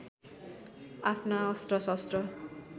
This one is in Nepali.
आफ्ना अस्त्र शस्त्र